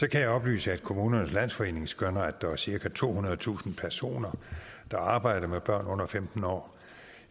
kan jeg oplyse at kommunernes landsforening skønner at der er cirka tohundredetusind personer der arbejder med børn under femten år